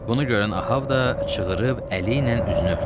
Bunu görən Ahab da çığırıb əli ilə üzünü örtdü.